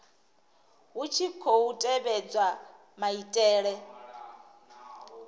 hu tshi khou tevhedzwa maitele